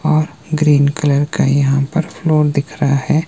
और green colour का यहां पर फ्लोर दिख रहा है।